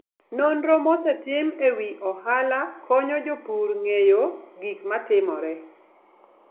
Nonro mosetim e wi ohala konyo jopur ng'eyo gik matimore.